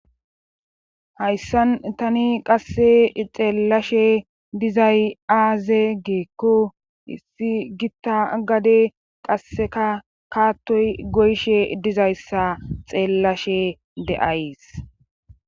Hayssan tani qasse xeellashshe dizay aaze giikko issi gitta gade qasseka kaattoy goyshe dizayssa xeellashe de'ays